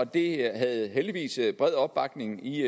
det havde heldigvis bred opbakning i